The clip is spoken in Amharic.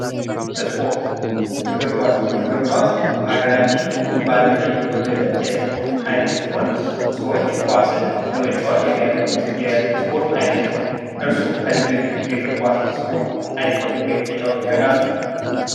ስፖርት እግር ኳስ እግር ኳስ በሃገራችን እንዲሁም በአለም ላይ የተወደደ የስፖርት አይነት ሲሆን፤ ሰዎች ኳስን ለመጫወት የሚያደርጉት የስፖርት አይነት ነው። እርሶ ከዚህ በፊት የእግር ኳስ ስፖርት አይተው ወይም ተጫውተው ያውቃሉ?